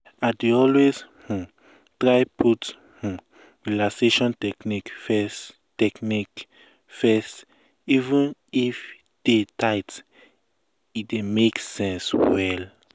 i dey always um try put um relaxation techniques first techniques first even if day tight e um dey make sense well.